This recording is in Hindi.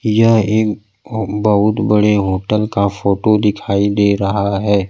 यह एक अ बहुत बड़े होटल का फोटो दिखाई दे रहा है।